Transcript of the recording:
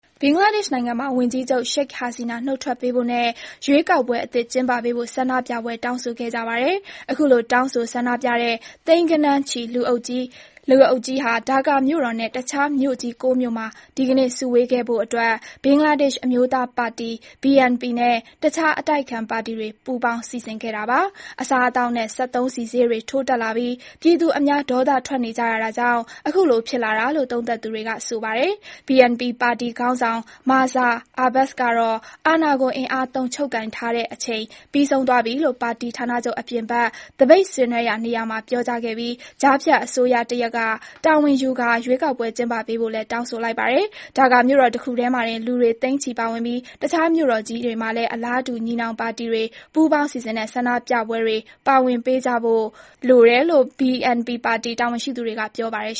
ဘင်္ဂလားဒေ့ရှ်နိုင်ငံမှာ ဝန်ကြီးချုပ် ရှိတ်ဟာစီနာ နုတ်ထွက်ပေးဖို့နဲ့ ရွေးကောက်ပွဲ အသစ်ကျင်းပပေးဖို့ ဆန္ဒပြပွဲကြီးဖြစ်ခဲ့ပါတယ်။ အခုလို တောင်းဆိုဆန္ဒပြတဲ့ သိန်းဂဏန်းချီ လူအုပ်ကြီး ဒါကာ မြို့တော်နဲ့ တခြားမြို့ကြီး ၉ မြို့မှာ ဒီနေ့ စုဝေးခဲ့တာဖြစ်ပြီး ဘင်္ဂလားဒေ့ရှ် အမျိုးသားပါတီ BNP နဲ့ တခြားအတိုက်အခံ ပါတီတွေပူးပေါင်း စီစဉ်ခဲ့တာပါ။ အစားအသောက်နဲ့ စက်သုံးဆီဈေးတွေ ထိုးတက်လာပြီး အများဒေါသထွက်နေချိန် အခုလို ဖြစ်လာတာလို့ သုံးသပ်သူတွေက ဆိုနေပါတယ်။ BNP ပါတီ ခေါင်းဆောင် မာဇာအဘာ့စ် ကတော့ အာဏာကို အင်အားသုံး ချုပ်ကိုင်ထားတဲ့ အချိန်ပြီးဆုံးသွားပြီလို့ ပါတီဌာနချုပ် အပြင်ဘက်သပိတ်ဆင်နွဲနေရာမှာပြောခဲ့ပြီး ကြားနေကျတဲ့ အစိုးရတရပ်ကတာဝန်ယူကာ ရွေးကောက်ပွဲကျင်းပပေးဖို့လည်း တောင်းဆိုလိုက်ပါတယ်။ ဒါကာမြို့တော်တခုထဲမှာတင် လူတွေသိန်းချီပါဝင်ပြီး တခြားမြို့ကြီးတွေမှာလည်း အလားတူ ညီနောင်ပါတီတွေ ပူးပေါင်းစီစဉ်တဲ့ ဆန္ဒပြပွဲထဲ ပါဝင်ပေးခဲ့ကြတယ်လို့ BNP ပါတီ တာဝန်ရှိသူတွေက ပြောပါတယ်